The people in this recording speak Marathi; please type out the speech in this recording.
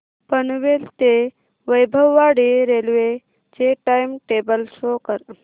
पनवेल ते वैभववाडी रेल्वे चे टाइम टेबल शो करा